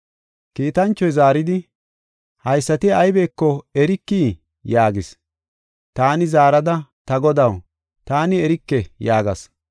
Kiitanchoy zaaridi, “Haysati aybeko erikii?” yaagis. Taani zaarada, “Ta godaw, taani erike” yaagas.